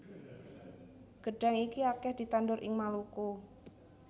Gedhang iki akeh ditandur ing Maluku